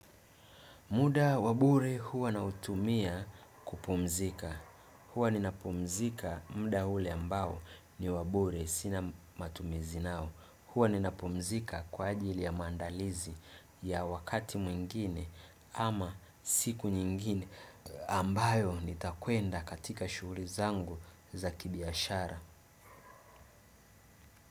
Muda wabure huwa nautumia kupumzika. Huwa nina pumzika mda ule ambao ni wabure sina matumizi nao. Huwa nina pumzika kwa ajili ya maandalizi ya wakati mwingine ama siku nyingine ambayo nitakwenda katika shughuri zangu za kibiashara.